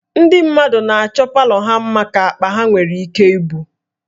Ndị mmadụ na-achọ palọ ha mma ka akpa ha nwere ike ibu